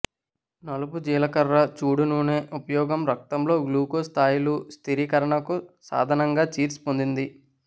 నలుపు జీలకర్ర చూడు నూనె ఉపయోగం రక్తంలో గ్లూకోజ్ స్థాయిలు స్థిరీకరణకు సాధనంగా చీర్స్ పొందింది